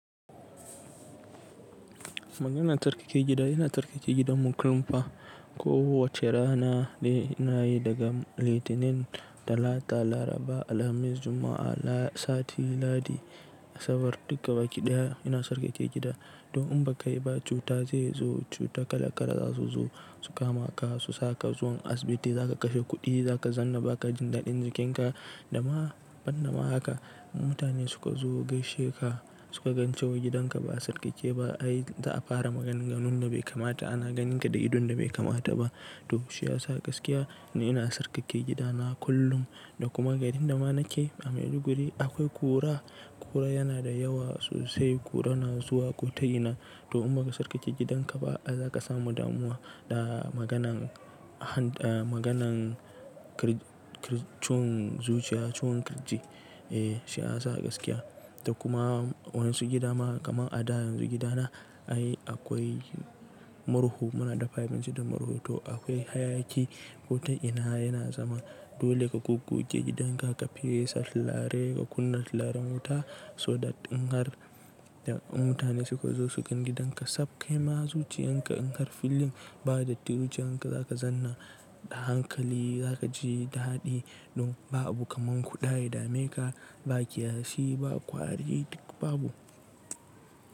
Maganin tsarkake gida yana tsarkake gidan mu kullum fa. Ko wace rana da ina yi daga Litinin, Talata, Laraba, Alhamis, Juma'a, sati, Ladi, Asabar duka baki ɗaya ina sarkake gida. To in baka yi ba cuta zai zo, cuta kala-kala za su zo, su kama ka, su sa ka zuwa asibiti, za ka kashe kuɗi, za ka zanna ba ka jin daɗin jikinka da ma ban da ma haka. Mutane suka zo gaishe ka, suka gan cewa gidanka ba sarkake ba ai za'a fara maganganun da bai kamata, ana ganin ka da idon da bai kamata ba. To shi ya sa gaskiya ina tsarkake gidana kullum da kuma garin da ma nake a Maiduguri akwai ƙura, ƙura yana da yawa sosai, ƙura na zuwa ko ta ina. To in baka tsarkake gidanka ba ai za ka samu damuwa da maganan ciwon zuciya, ciwon kirji eh shi ya sa gaskiya. Da kuma waɗansu gidama kamar a da yanzu gidana ai akwai murhu muna da five minutes da murhu to akwai hayaki ko ta ina yana zama. Dole ka gogge gidanka, ka fiye tsaf ka fesa turare, ka kunna tiraren wuta so da in har mutane suka zo su gan gidanka tsaf kai ma zuciyan ka in har filling ba da tirciyan ka za ka zanna da hankali za ka ji ɗadi. To ba abu kaman kuda ya dame ka, ba kiyashi, ba ƙwari duk babu.